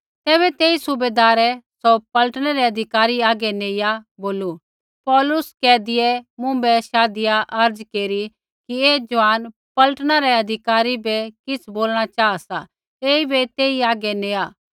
तैबै तेई सूबैदारै सौ पलटनै रै अधिकारी हागै नेइया बोलू पौलुस बन्धुऐ मुँभै शाधिया अर्ज़ केरी कि ऐ ज़ुआन पलटना रै अधिकारी बै किछ़ बोलणा चाहा सा ऐईबै तेई हागै नेआ